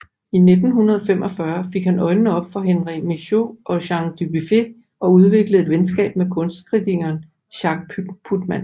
I 1945 fik han øjnene op for Henri Michaux og Jean Dubuffet og udviklede et venskab med kunstkritikeren Jacques Putman